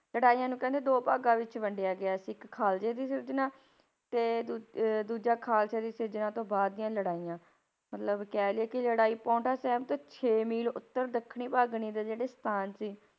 ਲੜਾਈਆਂ ਨੂੰ ਕਹਿੰਦੇ ਦੋ ਭਾਗਾਂ ਵਿੱਚ ਵੰਡਿਆ ਗਿਆ ਸੀ, ਇੱਕ ਖਾਲਸੇ ਦੀ ਸਿਰਜਣਾ, ਤੇ ਦੂ~ ਅਹ ਦੂਜਾ ਖਾਲਸੇ ਦੀ ਸਿਰਜਣਾ ਤੋਂ ਬਾਅਦ ਦੀਆਂ ਲੜਾਈਆਂ, ਮਤਲਬ ਕਹਿ ਲਈਏ ਕਿ ਲੜਾਈ ਪਾਉਂਟਾ ਸਾਹਿਬ ਤੋਂ ਛੇ ਮੀਲ ਉੱਤਰ ਦੱਖਣੀ ਭੰਗਾਣੀ ਦੇ ਜਿਹੜੇ ਸਥਾਨ ਸੀ,